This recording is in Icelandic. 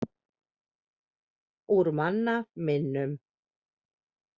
Úr manna minnum.